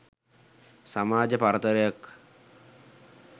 සමාජ පරතරයක්